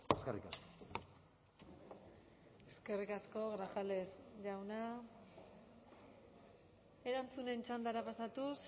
eskerrik asko eskerrik asko grajales jauna erantzunen txandara pasatuz